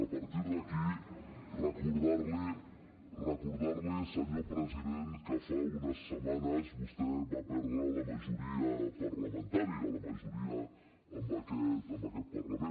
a partir d’aquí recordar li senyor president que fa unes setmanes vostè va perdre la majoria parlamentària la majoria en aquest parlament